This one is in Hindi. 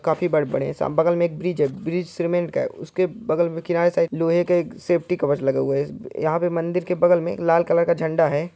काफी बड़े बड़े है बगल में एक ब्रिज है ब्रिज सीमेंट का है उसके बगल किनारे साइड लोहे का एक सेफ्टी कवच लगा हुआ है यहां पे मंदिर के बगल में लाल कलर का एक झंडा है।